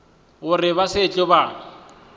go re na bao ba